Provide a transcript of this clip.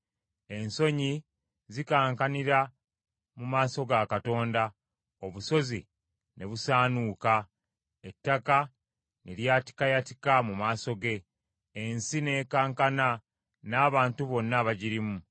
Ensozi zikankanira mu maaso ga Katonda, obusozi ne busaanuuka, ettaka ne lyatikayatika mu maaso ge, ensi n’ekankana n’abantu bonna abagirimu.